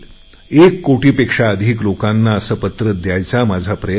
एक कोटीपेक्षा अधिक लोकांना पत्र द्यायचा माझा प्रयत्न आहे